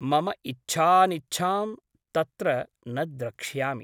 मम इच्छानिच्छां तत्र न द्रक्ष्यामि ।